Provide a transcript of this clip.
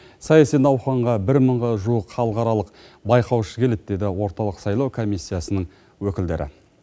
саяси науқанға бір мыңға жуық халықаралық байқаушы келеді деді орталық сайлау комиссиясының өкілдері